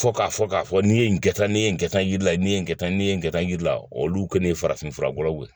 Fo k'a fɔ k'a fɔ n'i ye nin kɛ tan ne ye nin kɛ tan nin ji la ni ne ye nin kɛ tan n'i ye nin kɛ tan yiri la olu kɔni ye farafin fura bɔlaw ye